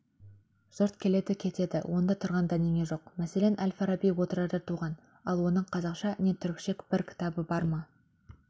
жұрт келеді кетеді онда тұрған дәнеңе жоқ мәселен әл-фараби отырарда туған ал оның қазақша не түрікше бір кітабы бар ма